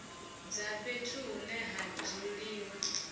dza fhethu hune ha dzuliwa